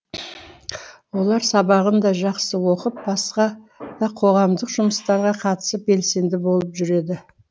олар сабағын да жақсы оқып басқа да қоғамдық жұмыстарға қатысып белсенді болып жүреді